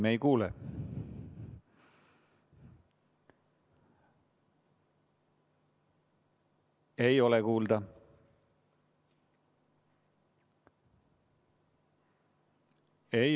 Me ei kuule, ei ole kuulda.